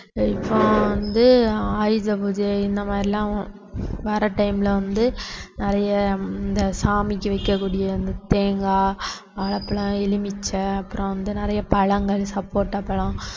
இப்போ வந்து ஆயுத பூஜை இந்த மாதிரிலாம் வர்ற time ல வந்து நிறைய இந்த சாமிக்கு வைக்கக்கூடிய அந்த தேங்காய், வாழைப்பழம், எலுமிச்சை அப்புறம் வந்து நிறைய பழங்கள் சப்போட்டாபழம்